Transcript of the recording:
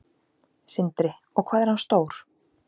Sindri: Og hvað er hann stór?